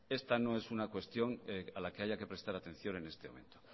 esta no es una cuestión a la que haya que prestar atención en este momento